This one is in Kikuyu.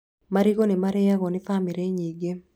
Marigũ nĩ marĩagwo nĩ bamĩrĩ nyingĩ